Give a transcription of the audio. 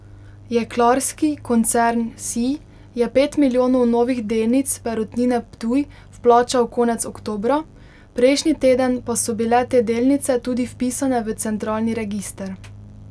Jeklarski koncern Sij je pet milijonov novih delnic Perutnine Ptuj vplačal konec oktobra, prejšnji teden pa so bile te delnice tudi vpisane v centralni register.